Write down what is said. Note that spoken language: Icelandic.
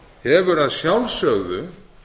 hefur að sjálfsögðu